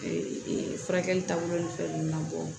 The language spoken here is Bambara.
furakɛli taabolo ni fɛn nunnu na bɔ